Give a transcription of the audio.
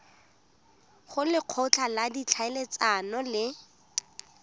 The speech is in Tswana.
go lekgotla la ditlhaeletsano le